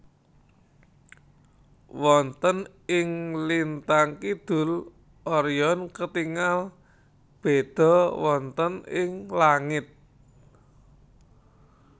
Wonten ing lintang kidul Orion ketingal béda wonten ing langit